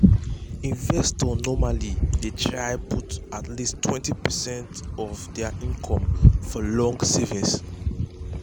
investors normally dey try put at least 20 percent of dir income for long savings. um